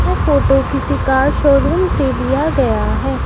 यह फोटो किसी car showroom से लिया गया है।